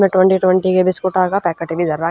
इम्ह twenty twenty के बिस्कुटां का पैकट भी धर राख्या--